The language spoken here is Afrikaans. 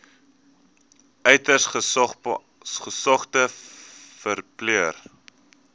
uiters gesogde verpleër